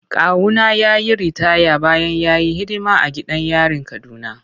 Kawuna ya yi ritaya bayan ya yi hidima a gidan yarin Kaduna.